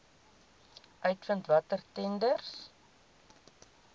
uitvind watter tenders